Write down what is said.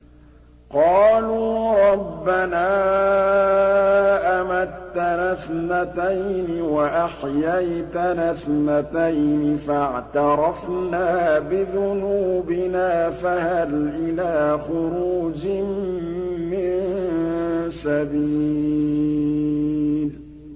قَالُوا رَبَّنَا أَمَتَّنَا اثْنَتَيْنِ وَأَحْيَيْتَنَا اثْنَتَيْنِ فَاعْتَرَفْنَا بِذُنُوبِنَا فَهَلْ إِلَىٰ خُرُوجٍ مِّن سَبِيلٍ